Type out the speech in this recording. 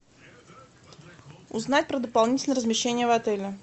узнать про дополнительное размещение в отеле